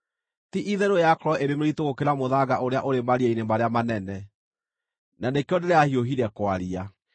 Ti-itherũ yakorwo ĩrĩ mĩritũ gũkĩra mũthanga ũrĩa ũrĩ maria-inĩ marĩa manene; na nĩkĩo ndĩrahiũhire kwaria.